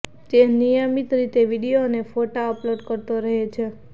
તે નિયમિત રીતે વીડિયો અને ફોટો અપલોડ કરતો રહે છે